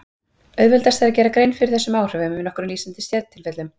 Auðveldast er að gera grein fyrir þessum áhrifum í nokkrum lýsandi sértilfellum.